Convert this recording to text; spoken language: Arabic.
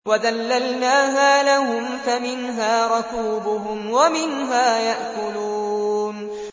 وَذَلَّلْنَاهَا لَهُمْ فَمِنْهَا رَكُوبُهُمْ وَمِنْهَا يَأْكُلُونَ